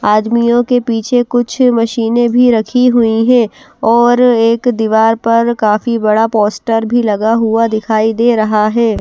आदमियों के पीछे कुछ मशीनें भी रखी हुई हैं और एक दिवार पर काफी बड़ा पोस्टर भी लगा हुआ दिखाई दे रहा है।